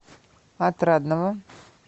отрадного